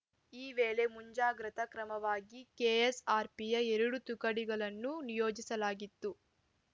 ಈ ವೇಳೆ ಮುಂಜಾಗ್ರತಾ ಕ್ರಮವಾಗಿ ಕೆಎಸ್‌ಆರ್‌ಪಿಯ ಎರಡು ತುಕಡಿಗಳನ್ನು ನಿಯೋಜಿಸಲಾಗಿತ್ತು